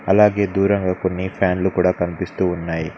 అలాగే దూరంగా కొన్ని ఫ్యాన్లు కూడా కనిపిస్తూ ఉన్నాయి.